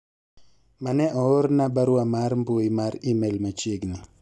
mane oorona barua mar mbui mar email machiegni